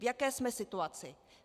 V jaké jsme situaci?